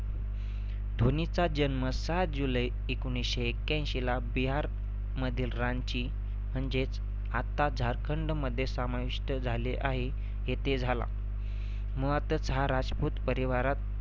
धोनीचा जन्म सात जुलै एकोणीसशे एक्याऐंशीला बिहारमधील रांची म्हणजेच आता झारखंडमध्ये समाविष्ट झाले आहे येथे झाला. मुळातच हा राजभूत परिवारात